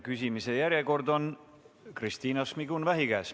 Küsimise järjekord on Kristina Šmigun-Vähi käes.